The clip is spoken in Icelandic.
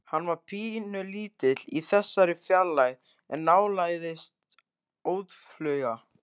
Hann var pínulítill í þessari fjarlægð en nálgaðist óðfluga.